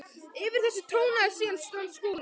Yfir þessu trónaði síðan hann Skúli.